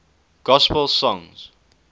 gospel songs